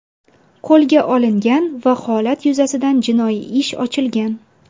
qo‘lga olingan va holat yuzasidan jinoiy ish ochilgan.